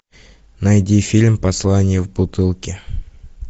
найди фильм послание в бутылке